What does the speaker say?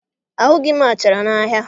Ahụghị m achara n'ahịa